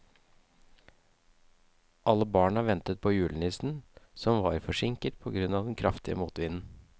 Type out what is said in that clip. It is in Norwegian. Alle barna ventet på julenissen, som var forsinket på grunn av den kraftige motvinden.